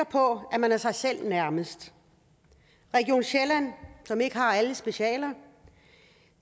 på at man er sig selv nærmest region sjælland som ikke har alle specialer